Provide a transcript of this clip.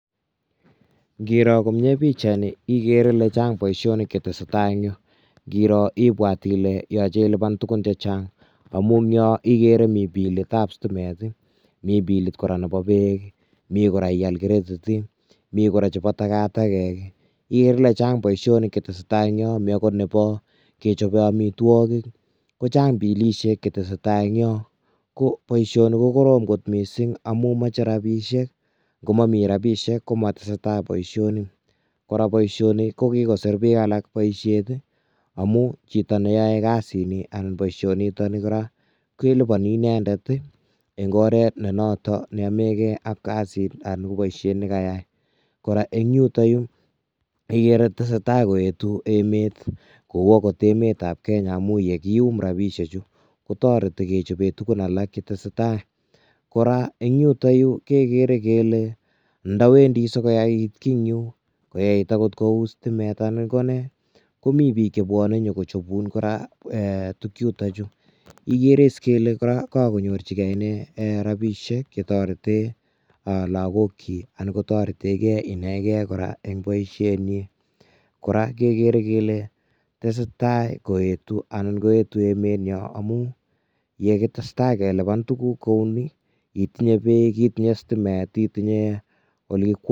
Ng'iro komnye pichaini ikere ilee Chang boishonik cheteseta en yuu ng'iro ibwat ilee yoche iliban tukun chechang amun yoo ikere mii bilitab sitimet, mii bilit kora nebo beek, mii kora ial credit ii, mii kora chebo takatakek, ikeree ilee chang boishonik cheteseta eng' yoon komii okot nebo kechobe amitwokik, kochang bilishek cheteseta eng' yoon, ko boishoni ko korom kot mising amun moche rabishek komomii rabishek komoteseta boishoni, kora boishoni ko kikosir biik alak boishet amun chito neyoe kasini anan boishoni niton nii kora keliponi inendet eng' oret nee noto nenomeke ak kasit anan ko boishet nekayai, kora eng' yuton yuu ikere tesetai koetu emet kou okot emetab Kenya amun yekium rabishechu kotoreti kechoben tukun alak chetesetai, kora eng' yuton yuu kekere kele ndowendi sikoyait kii eng' yuu, koyait okot kouu sitimet anan konee komii biik chebwone nyokochobun eeh tukuk chuto chuu, ikeres ilee kakonyorchike iss inee rabishek chetoreti lokokyok anan kotoreteke inekee kora eng' boishenyin, kora kekere kelee tesetaa koyetu anan koetu emenyon amun yee kitesta keliban tukuk kouni itinye beek, itinye sitimet, itinye olekikwonyen.